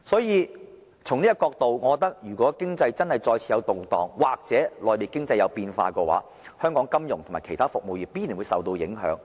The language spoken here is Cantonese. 如果出現經濟動盪，或內地經濟有變化，香港金融及其他服務業必然會受到影響。